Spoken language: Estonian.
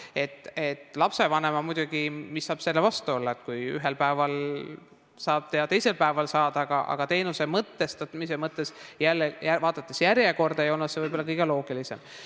Mis saab lapsevanemal, muidugi, selle vastu olla, kui ühel päeval saad ja teisel päeval saad, aga teenuse mõtestamise mõttes jälle ja vaadates järjekorda ei olnud see kõige loogilisem.